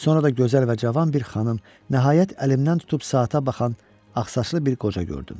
Sonra da gözəl və cavan bir xanım, nəhayət əlimdən tutub saata baxan ağsaçlı bir qoca gördüm.